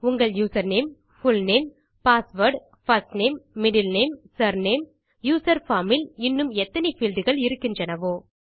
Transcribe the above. உங்கள் username full name password first name middle name surname user form இல் இன்னும் எத்தனை பீல்ட்கள் இருக்கின்றனவோ